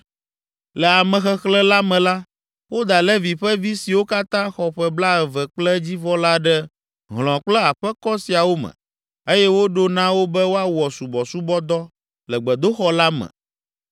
Le amexexlẽ la me la, woda Levi ƒe vi siwo katã xɔ ƒe blaeve kple edzivɔ la ɖe hlɔ̃ kple aƒekɔ siawo me eye woɖo na wo be woawɔ subɔsubɔdɔ le gbedoxɔ la me